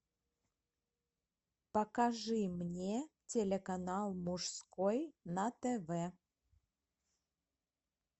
покажи мне телеканал мужской на тв